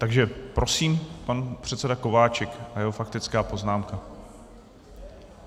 Takže prosím, pan předseda Kováčik a jeho faktická poznámka.